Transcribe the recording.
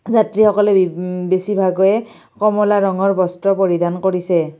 যাত্ৰীসকলে বে উম বেছিভাগে কমলা ৰঙৰ বস্ত্ৰ পৰিধান কৰিছে।